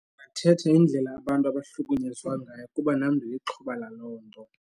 Kuthetha indlela abantu abahlukunyezwa ngayo kuba nam ndilixhoba laloo nto.